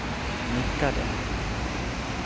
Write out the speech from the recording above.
nickade